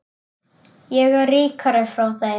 Ég fer ríkari frá þeim.